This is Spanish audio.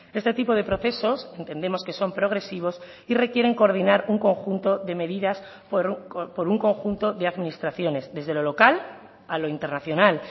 este tipo de procesos entendemos que son progresivos y requieren coordinar un conjunto de medidas por un conjunto de administraciones desde lo local a lo internacional